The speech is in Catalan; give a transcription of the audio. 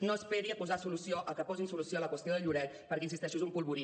no esperi a posar solució a que posin solució a la qüestió de lloret perquè hi insisteixo és un polvorí